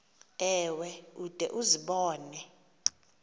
ewe ude uzibone